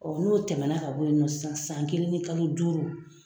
n'o tɛmɛna ka bɔ yen nɔ sisan san san kelen ni kalo duuru